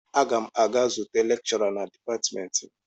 Aga m aga zute lekshọra na dipatịmentị m.